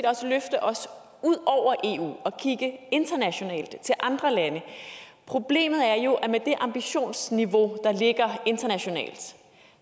også løfte os ud over eu og kigge internationalt til andre lande problemet er jo at med det ambitionsniveau der ligger internationalt